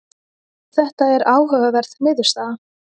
þetta er áhugaverð niðurstaða